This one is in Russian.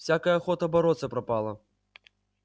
всякая охота бороться пропала